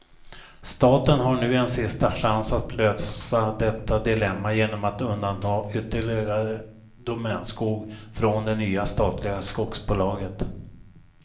Staten har nu en sista chans att lösa detta dilemma genom att undanta ytterligare domänskog från det nya statliga skogsbolaget.